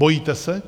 Bojíte se?